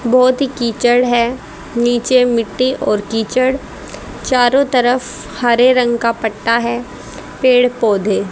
बहोत ही किचड़ है नीचे मिट्टी और किचड़ चारों तरफ हरे रंग का पट्टा है पेड़ पौधे--